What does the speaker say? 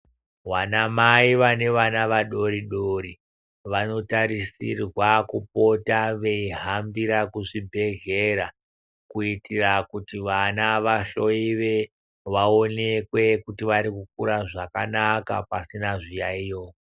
Vanamai vane vana vadori dori vanotarisirwa kupota veihambira kuzvibhedhlera kuitira kuti vana vahloiwe vaonekwe kuti vari kukura zvakanaka pasina zviyaiyo.